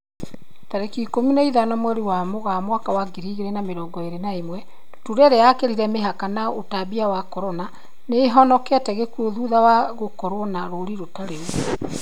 Tarĩki ikũmi na ithano mweri wa Mũgaa mwaka wa ngiri igĩrĩ na mĩrongo ĩrĩ na ĩmwe, ndutura ĩrĩa yakĩrire mĩhaka ya ũtambia wa Corona, nĩihonokete gĩkuo thutha wa gũkorwo na rũri rũtari ruo